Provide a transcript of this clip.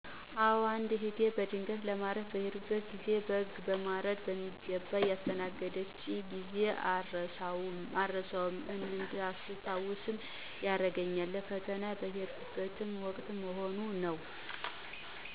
አዎ አንድ እህቴ በድንገት ለማረፍ በሄድሁበት ግዜ በግ በማረድ በሚገባ ያስተናገደችኝን ግዜ አረሳውም እዳስተውሰው ያረገኝ ለፈተና የሄድሁበት ወቅት መሆኑ ነው።